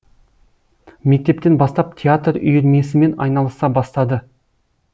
мектептен бастап театр үйірмесімен айналыса бастады